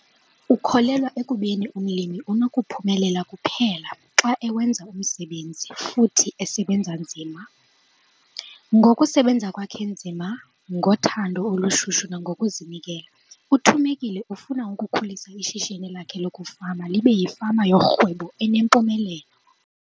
Ukholelwa ekubeni umlimi unokuphumelela kuphela xa ewenza umsebenzi futhi esebenza nzima. Ngokusebenza kwakhe nzima, ngothando olushushu nangokuzinikela uThumekile ufuna ukukhulisa ishishini lakhe lokufama libe yifama yorhwebo enempumelelo.